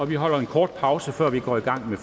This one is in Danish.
vi holder en kort pause før vi går i gang med